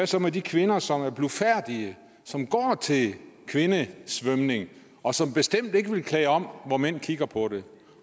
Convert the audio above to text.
så med de kvinder som er blufærdige som går til kvindesvømning og som bestemt ikke vil klæde om hvor mænd kigger på det